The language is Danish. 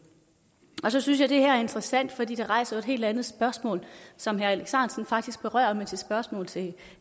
så synes jeg det her er interessant fordi det rejser et helt andet spørgsmål som herre alex ahrendtsen faktisk berører med sit spørgsmål til